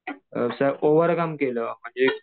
असं ओव्हरकम केलं म्हणजे